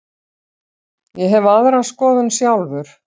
Ég hef aðra skoðun sjálfur.